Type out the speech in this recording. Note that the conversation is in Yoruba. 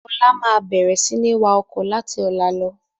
Ọlá máa bẹ̀rẹ̀ sini wá ọkọ̀ láti ọ̀la lọ.